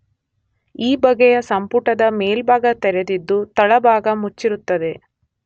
ಈ ಬಗೆಯ ಸಂಪುಟದ ಮೇಲ್ಭಾಗ ತೆರೆದಿದ್ದು ತಳಭಾಗ ಮುಚ್ಚಿರುತ್ತದೆ.